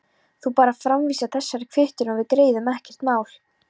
Þú bara framvísar þessari kvittun og við greiðum, ekkert mál.